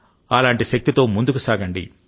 అలాంటి శక్తితో ముందుకు సాగండి